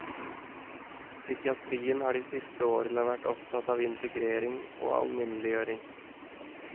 Psykiatrien har de siste årene vært opptatt av integrering og alminneliggjøring.